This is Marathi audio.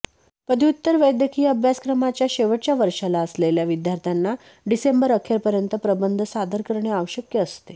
पदव्युत्तर वैद्यकीय अभ्यासक्रमाच्या शेवटच्या वर्षाला असलेल्या विद्यार्थ्यांना डिसेंबर अखेरपर्यंत प्रबंध सादर करणे आवश्यक असते